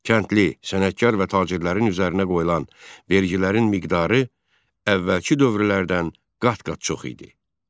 Kəndli, sənətkar və tacirlərin üzərinə qoyulan vergilərin miqdarı əvvəlki dövrlərdən qat-qat çox idi.